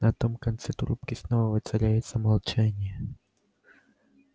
на том конце трубки снова воцаряется молчание